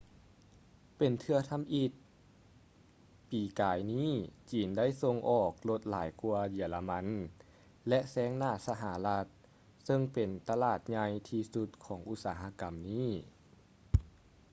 ເປັນເທື່ອທຳອິດປີກາຍນີ້ຈີນໄດ້ສົ່ງອອກລົດຫຼາຍກ່ວາເຢຍລະມັນ ແລະ ແຊງໜ້າສະຫະລັດເຊິ່ງເປັນຕະຫຼາດໃຫຍ່ທີ່ສຸດຂອງອຸດສາຫະກຳນີ້